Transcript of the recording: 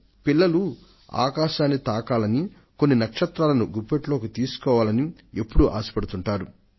ప్రతి ఒక్క పిల్ల వాడు ఆకాశాన్ని అందుకోవాలని కొన్ని నక్షత్రాలను గుప్పెట్లోకి తీసుకోవాలని తన హృదయాంతరాళంలో కోరుకుంటుంటాడు